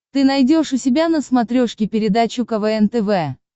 ты найдешь у себя на смотрешке передачу квн тв